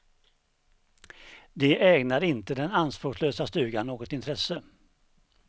De ägnade inte den anspråkslösa stugan något intresse.